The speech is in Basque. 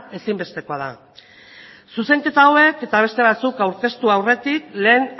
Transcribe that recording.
ezinbestekoa da zuzenketa hauek eta beste batzuk aurkeztu aurretik lehen